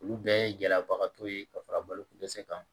Olu bɛɛ ye gɛlɛyabagatɔ ye ka fara balokodɛsɛ kan